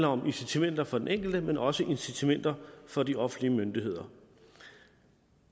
om incitamenter for den enkelte men også incitamenter for de offentlige myndigheder